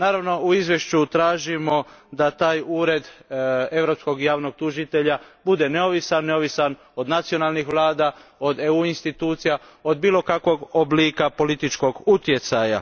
Naravno, u izvješću tražimo da taj Ured europskog javnog tužitelja bude neovisan, neovisan od nacionalnih vlada, od EU institucija, od bilo kakvog oblika političkog utjecaja.